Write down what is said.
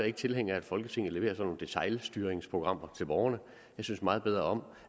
ikke tilhænger af at folketinget leverer sådan nogle detailstyringsprogrammer til borgerne jeg synes meget bedre om